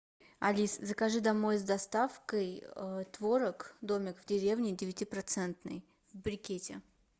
алиса закажи домой с доставкой творог домик в деревне девятипроцентный в брикете